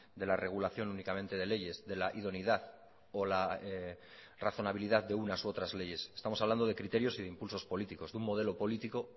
de la regulación únicamente de leyes de la idoneidad o la razonabilidad de unas u otras leyes estamos hablando de criterios y de impulsos políticos de un modelo político